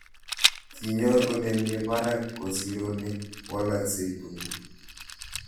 Kinyor kole mii parak kosir ole walaksei tuguk